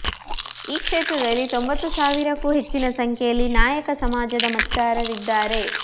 ಈ ಕ್ಷೇತ್ರದಲ್ಲಿ ತೊಂಬತ್ತು ಸಾವಿರಕ್ಕೂ ಹೆಚ್ಚಿನ ಸಂಖ್ಯೆಯಲ್ಲಿ ನಾಯಕ ಸಮಾಜದ ಮತದಾರರಿದ್ದಾರೆ